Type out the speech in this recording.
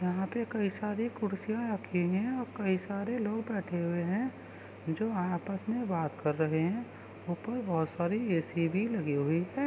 यहाँ पे कई सारी कुर्सियां रखी हुई है और कई सारे और लोग रखे हुए हैं जो आपस में बात कर रहे हैं इसमें बहुत सारे ऐ.सी भी लगे हुए हैं।